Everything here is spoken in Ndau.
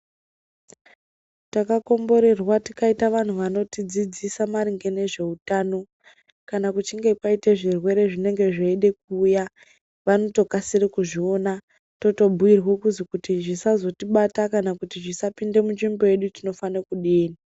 Takakomborerwa tikaita vanhu vanodzidzisa maringe nezveutano kana kuchinge kwaite zvirwere zvinenge zveide kuuya vanotokasire kuzviona, totobhuyirwo kuzi kuti zvisazotibata kana kuti zvisapinde muzvimbo yedu tinofane kudini.